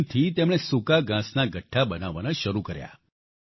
આ મશીનથી તેમણે સૂકા ઘાંસના ગઠ્ઠા બનાવવાના શરૂ કર્યા